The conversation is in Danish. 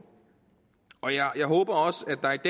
jeg håber